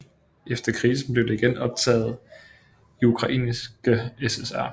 Efter krigen blev det igen optaget i Ukrainske SSR